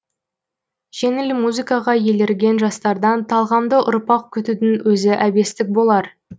жеңіл музыкаға елірген жастардан талғамды ұрпақ күтудің өзі әбестік болар